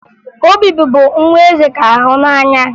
Obi bụbu nwa eze ka hụ n'anya